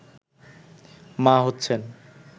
মা হচ্ছেন